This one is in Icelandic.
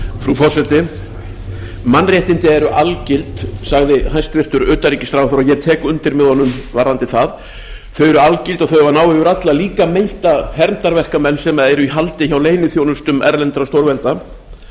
frú forseti mannréttindi eru algild sagði hæstvirtur utanríkisráðherra og ég tek undir með honum varðandi það þau eru algild og þau eiga að ná yfir alla líka meinta hermdarverkamenn sem eru í haldi hjá leyniþjónustum erlendra stórvelda